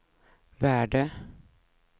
värde